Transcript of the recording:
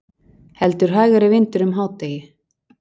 Heldur hægari vindur um hádegi